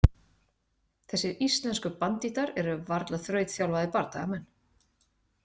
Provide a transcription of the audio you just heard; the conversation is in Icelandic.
Þessir íslensku bandíttar eru varla þrautþjálfaðir bardagamenn.